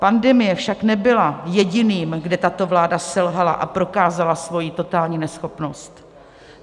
Pandemie však nebyla jediným, kde tato vláda selhala a prokázala svoji totální neschopnost.